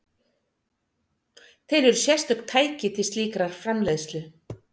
Til eru sérstök tæki til slíkrar framleiðslu.